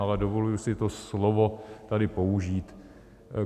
Ale dovoluji si to slovo tady použít.